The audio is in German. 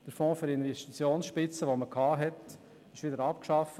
Der Fonds für Investitionsspitzen wurde wieder abgeschafft.